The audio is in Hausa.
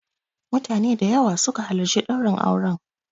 Mutane da yawa su ka halarci ɗaurin auren.